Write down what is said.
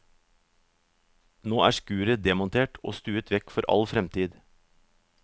Nå er skuret demontert og stuet vekk for all fremtid.